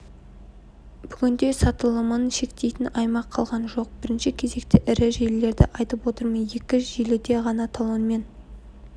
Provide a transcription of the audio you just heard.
бүгінде сатылымын шектейтін аймақ қалған жоқ бірінші кезекте ірі желілерді айтып отырмын екі желіде ғана талонмен